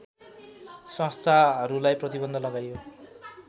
संस्थाहरूलाई प्रतिबन्ध लगाइयो